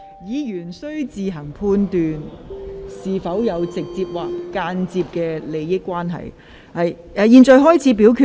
議員須自行判斷是否有直接或間接金錢利益。現在開始表決。